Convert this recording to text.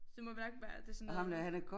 Så må hverken være det sådan noget